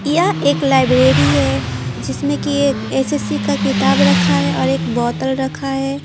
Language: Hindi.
ये एक लाइब्रेरी है जिसमें कि एक एसएससी का किताब रखा हैऔर एक बोतल रखा है।